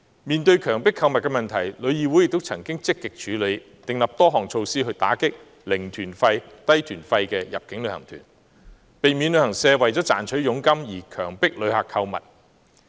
面對強迫購物的問題，旅議會曾積極處理，並訂立多項措施打擊"零團費"及"低團費"的入境旅行團，避免旅行社為賺取佣金而強迫旅客購物。